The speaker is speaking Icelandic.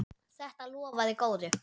Þetta lofaði góðu.